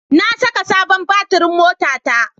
Na saka sabon batirin motata.